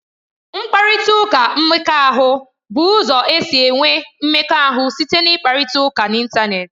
Mkparịta ụka mmekọahụ bụ ụzọ e si enwe mmekọahụ site n'ịkparịta ụka n'Ịntanet.